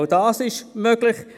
Auch das ist möglich.